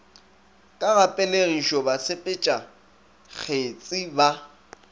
ka ga pelegišo basepetšakgetsi ba